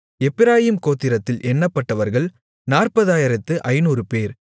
எப்பிராயீம் கோத்திரத்தில் எண்ணப்பட்டவர்கள் 40500 பேர்